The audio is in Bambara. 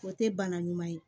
O tɛ bana ɲuman ye